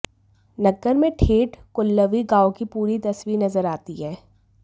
नग्गर में ठेठ कुल्लवी गांव की पूरी तस्वीर नजर आती है